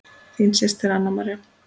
Þín systir, Anna María.